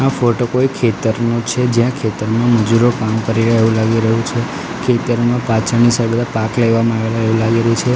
આ ફોટો કોઇ ખેતરનો છે જ્યાં ખેતરમાં મજૂરો કામ કરી રહ્યા હોય એવુ લાગી રહ્યુ છે ખેતરમા પાછળની સાઇડ પાક લેવામાં આવેલા એવુ લાગી રહ્યુ છે.